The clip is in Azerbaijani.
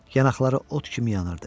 Yanaqları ot kimi yanırdı.